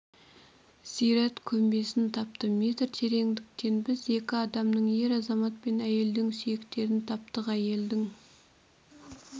зират көмбесін тапты метр тереңдіктен біз екі адамның ер азамат пен әйелдің сүйектерін таптық әйелдің